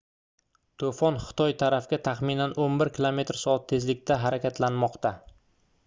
to'fon xitoy tarafga taxminan 11 km/soat tezlikda harakatlanmoqda